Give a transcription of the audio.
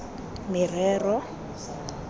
merero